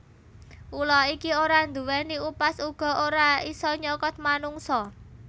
Ula iki ora nduwèni upas uga ora isa nyokot manungsa